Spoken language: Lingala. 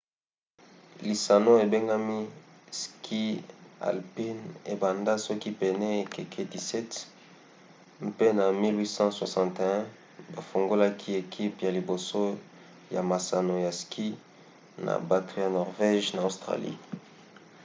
lisano ebengami ski alpin ebanda soki pene ya ekeke 17 mpe na 1861 bafungolaki ekipe ya liboso ya masano ya ski na bato ya norvége na australie